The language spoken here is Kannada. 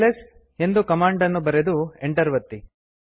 ಎಲ್ಎಸ್ ಎಂದು ಕಮಾಂಡ್ ಅನ್ನು ಬರೆದು ಎಂಟರ್ ಒತ್ತಿ